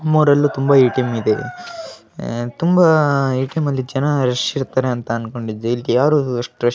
ನಮ್ ಊರಲ್ಲಿ ತುಂಬಾ ಎ.ಟಿ.ಎಂ ಇದೆ ಅಹ್ ತುಂಬಾ ಎ.ಟಿ.ಎಂ ನಲ್ಲಿ ಜನ ರಶ್ ಇರತಾರೆ ಅಂತ ಅಂದ್ಕೊಂಡಿದ್ದೆ ಇಲ್ಲಿ ಯಾರ ಅಸ್ಟು ರಶ್‌ ರು --